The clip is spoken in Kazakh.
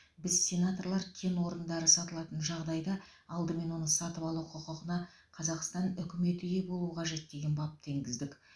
біз сенаторлар кен орындары сатылатын жағдайда алдымен оны сатып алу құқығына қазақстан үкіметі ие болуы қажет деген бапты енгіздік